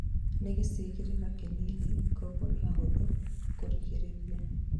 nĩ gĩcigĩrĩra kĩnini kogũo ni hahuthu kurigĩrĩria